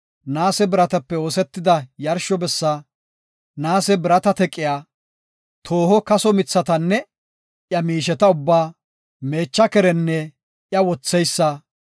naase biratape oosetida yarsho bessi, naase birata teqiya, tooho kaso mithatanne iya miisheta ubbaa, meecha kerenne iya wotheysa,